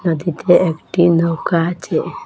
নদীতে একটি নৌকা আছে।